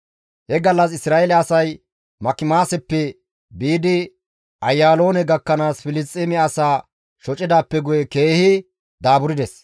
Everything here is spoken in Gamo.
He gallas Isra7eele asay Makimaaseppe biidi Ayaaloone gakkanaas Filisxeeme asaa shocidaappe guye keehi daaburdes.